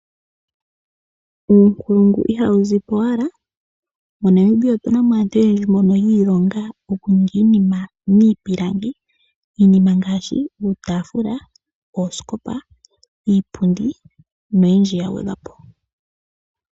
Uunkulungu ihawu zi powala. MoNamibia otuna mo aantu oyendji mbono yi ilonga okuninga iinima miipilangi. Iinima mbika ongaashi, iitafula, oosikopa, iipundi noyindji ya gwedhwapo.